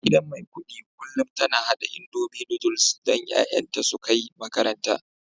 Uwargidan Maikudi kullum tana hada indomie Noodles don 'ya'yanta su kai makaranta